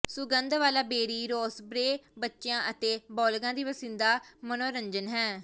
ਸੁਗੰਧ ਵਾਲਾ berry raspberry ਬੱਚਿਆਂ ਅਤੇ ਬਾਲਗ਼ਾਂ ਦੀ ਪਸੰਦੀਦਾ ਮਨੋਰੰਜਨ ਹੈ